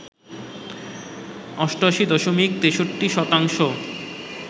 ৮৮ দশমিক ৬৩ শতাংশ